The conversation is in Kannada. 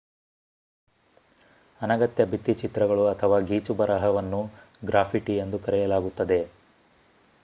ಅನಗತ್ಯ ಭಿತ್ತಿಚಿತ್ರಗಳು ಅಥವಾ ಗೀಚುಬರಹವನ್ನು ಗ್ರಾಫಿಟಿ ಎಂದು ಕರೆಯಲಾಗುತ್ತದೆ